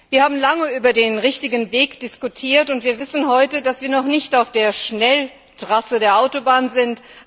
Wir haben lange über den richtigen Weg diskutiert, und wir wissen heute, dass wir noch nicht auf der Schnelltrasse der Autobahn sind.